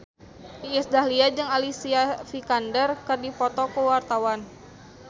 Iis Dahlia jeung Alicia Vikander keur dipoto ku wartawan